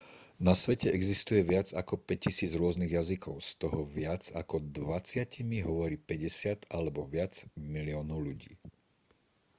na svete existuje viac ako 5 000 rôznych jazykov z toho viac ako dvadsatimi hovorí 50 alebo viac miliónov ľudí